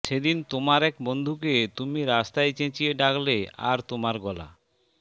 সেদিন তোমার এক বন্ধুকে তুমি রাস্তায় চেঁচিয়ে ডাকলে আর তোমার গলা